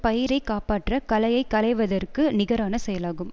பயிரைக் காப்பாற்றக் களையை களைவதற்க்கு நிகரான செயலாகும்